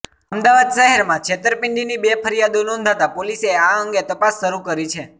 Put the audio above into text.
અમદાવાદ શહેરમાં છેંતરપીડીની બે ફરિયાદો નોંધાતા પોલીસે આ અંગે તપાસ શરૂ કરી છે